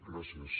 gràcies